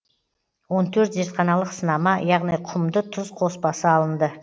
он төрт зертханалық сынама яғни құмды тұз қоспасы алынды